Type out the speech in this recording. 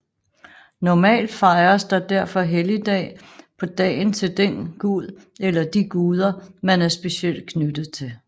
Normalt fejres der derfor helligdag på dagen til den guden eller de guderne man er specielt knyttet til